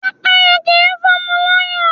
Pẹ́pẹ́yẹ kì í fọ́mọ lọ́yàn.